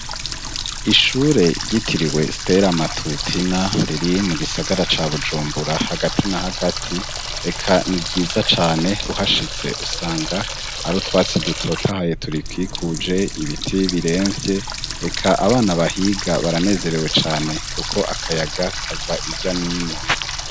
Ishure ryitiriwe Stella Matutina riri mu gisagara ca Bujumbura hagati na hagati, eka ni ryiza cane uhashitse usanga hari utwatsi dutotahaye turikikuje ibiti biremvye eka abana bahiga baranezerewe cane kuko akayaga kava irya nino.